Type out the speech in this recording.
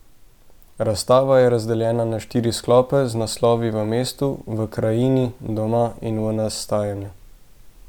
Razstava je razdeljena na štiri sklope z naslovi V mestu, V krajini, Doma in V nastajanju.